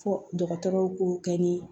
Fo dɔgɔtɔrɔw k'o kɛ ni